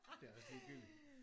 Det er også ligegyldigt